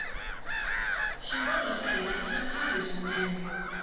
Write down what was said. xikolo xa hina ixa khale swinene